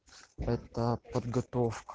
этоо подготовка